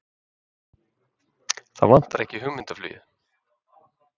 Það vantar ekki hugmyndaflugið!